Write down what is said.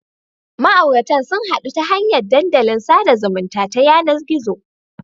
Ma'auratan sun hadu ta hanyar dandalin sada zumunta ta yanar gizo.